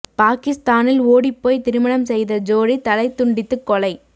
பாகிஸ்தானில் ஓடிப் போய் திருமணம் செய்த ஜோடி தலை துண்டித்து கொலை